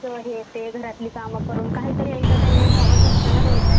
हे ते घरातली काम करून काहीतरी एंटरटेनमेंट हवच असताना रोज.